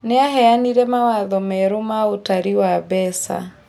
Nĩaheanire mawatho merũ ma ũtari wa mbeca